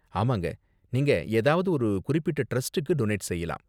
ஆமாங்க, நீங்க ஏதாவது ஒரு குறிப்பிட்ட டிரஸ்டுக்கு டொனேட் செய்யலாம்.